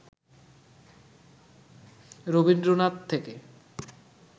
রবীন্দ্রনাথ থেকে